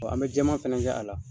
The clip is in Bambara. Jɔn an bɛ jɛman fana kɛ a la.